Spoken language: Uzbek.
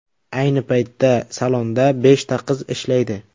Ayni paytda salonda beshta qiz ishlaydi.